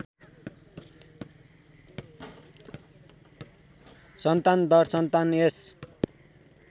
सन्तान दरसन्तान यस